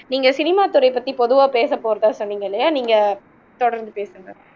நீங்க சினிமா துறையை பத்தி பொதுவா பேசப்போறதா சொன்னீங்க இல்லையா நீங்க தொடர்ந்து பேசுங்க